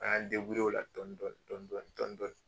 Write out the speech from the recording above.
A y'an o la dɔɔni dɔɔndi dɔɔɔni.